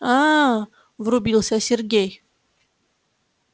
аа врубился сергей